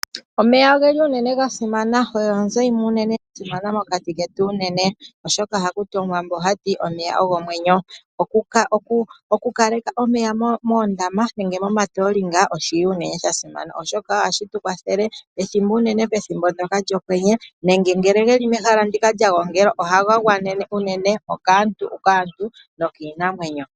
Omeya oga simana oyo onzo yasimana mokati ketu unene oshoka omuwambo ogati omeya ogo omwenyo. Oku kaleka omeya momatoolinga nenge moondama oshi li shasimana unene pethimbo lyokwenye. Unene ngele geli mehala moka ga gongelwa ohaga gwanene kaantu nokiinamwenyo.